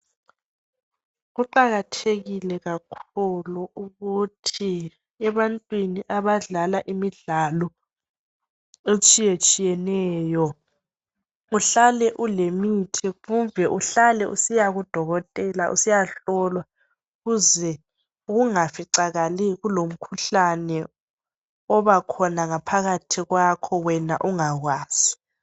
Kuqakathekile kakhulu ukuthi ebantwini abadlala imidlalo etshiyetshiyeneyo uhlale ulemithi kumbe uhlale usiya kuDokotela usiyahlolwa ukuze kungaficakali kulomikhuhlane obakhona ngaphakathi kwakho wena ungakwazi.